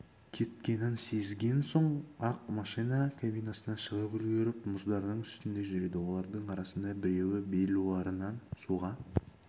кеткенін сезген соң-ақ машина кабинасынан шығып үлгеріп мұздардың үстінде жүреді олардың арасында біреуі белуарынан суға